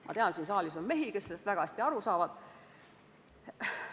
Ma tean, et siin saalis on mehi, kes sellest väga hästi aru saavad.